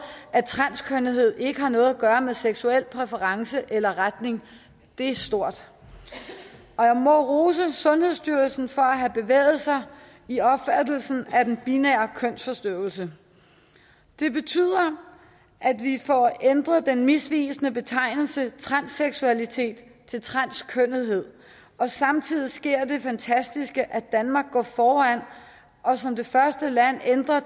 at transkønnethed ikke har noget at gøre med seksuelle præferencer eller retning er stort og jeg må rose sundhedsstyrelsen for at have bevæget sig i opfattelsen af den binære kønsforstyrrelse det betyder at vi får ændret den misvisende betegnelse transseksualitet til transkønnethed og samtidig sker der det fantastiske at danmark går foran og som det første land ændrer